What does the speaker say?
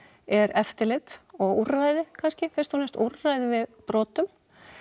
er eftirlit og úrræði kannski fyrst og fremst úrræði við brotum